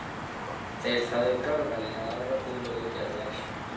Þeir feðgar velja aðra tillögu Gerðar.